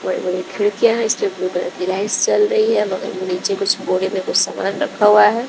बड़े बड़े खिड़कियां हैं इस पे ब्लू कलर की लाइट्स जल रही है बगल में नीचे कुछ बोरे में कुछ सामान रखा हुआ है।